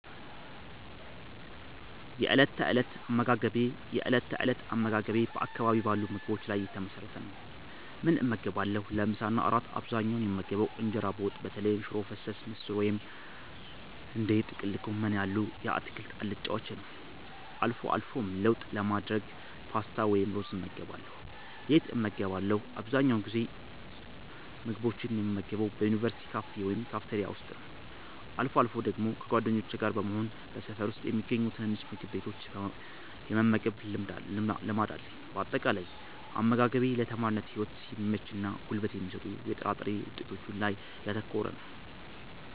የእለት ተእለት አመጋገቤ የእለት ተእለት አመጋገቤ በአካባቢው ባሉ ምግቦች ላይ የተመሰረተ ነው፦ ምን እመገባለሁ? ለምሳ እና ለእራት በአብዛኛው የምመገበው እንጀራ በወጥ (በተለይም ሽሮ ፈሰስ፣ ምስር ወጥ ወይም እንደ ጥቅል ጎመን ያሉ የአትክልት አልጫዎችን) ነው። አልፎ አልፎም ለውጥ ለማድረግ ፓስታ ወይም ሩዝ እመገባለሁ። የት እመገባለሁ? አብዛኛውን ጊዜ ምግቦችን የምመገበው በዩኒቨርሲቲ ካፌ ወይም ካፍቴሪያ ውስጥ ነው። አልፎ አልፎ ደግሞ ከጓደኞቼ ጋር በመሆን በሰፈር ውስጥ በሚገኙ ትናንሽ ምግብ ቤቶች የመመገብ ልማድ አለኝ። ባጠቃላይ፦ አመጋገቤ ለተማሪነት ህይወት በሚመችና ጉልበት በሚሰጡ የጥራጥሬ ውጤቶች ላይ ያተኮረ ነው።